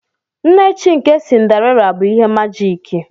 Nne chi nke Cinderella bụ ihe majiki.